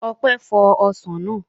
Ọpẹ́ fọ ọsàn náà